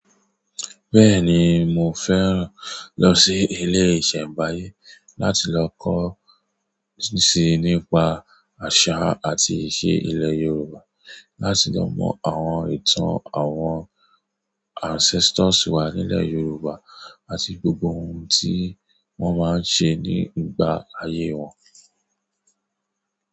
Bẹ́ẹ̀ni, mo fẹ́ràn lọ sí ilé ìṣẹ̀mbáyé láti lọ kọ́ nípa àṣà àti ìṣè ilẹ̀ Yorùbá, láti lọ mọ àwọn ìtàn àwọn ancestors wà nílẹ̀ Yorùbá àti gbogbo ohun tí wọ́n máa ń ṣe nígbà ayé wọn.